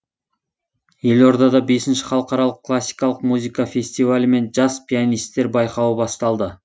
елордада бесінші халықаралық классикалық музыка фестивалі мен жас пианистер байқауы басталды